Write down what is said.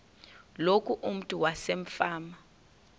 loku umntu wasefama